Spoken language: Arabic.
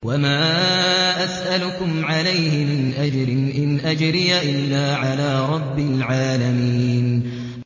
وَمَا أَسْأَلُكُمْ عَلَيْهِ مِنْ أَجْرٍ ۖ إِنْ أَجْرِيَ إِلَّا عَلَىٰ رَبِّ الْعَالَمِينَ